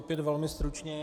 Opět velmi stručně.